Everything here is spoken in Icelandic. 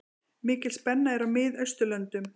Mikil spenna er í Miðausturlöndum.